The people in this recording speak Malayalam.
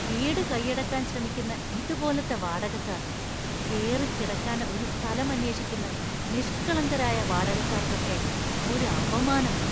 വീട് കയ്യടക്കാൻ ശ്രമിക്കുന്ന ഇതുപോലത്തെ വാടകക്കാർ കേറിക്കിടക്കാൻ ഒരു സ്ഥലം അന്വേഷിക്കുന്ന നിഷ്കളങ്കരായ വാടകക്കാർക്കൊക്കെ ഒരു അപമാനമാണ്.